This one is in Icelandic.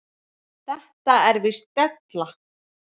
Þetta er víst della.